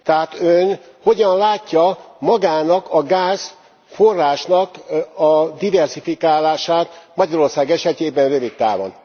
Tehát Ön hogyan látja magának a gázforrásnak a diverzifikálását Magyarország esetében rövid távon?